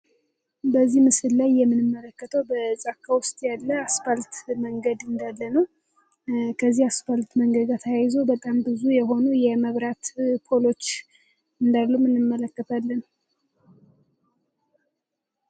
በዚህ ምስል ላይ ምንመለከተው ውስጥ ያለ አስፓልት መንገድ እንዳለ ነው ያስፈልግ መንገጃ ተያይዞ በጣም ብዙ የሆኑ የመብራት ፖሎች እንደምንመለከታለን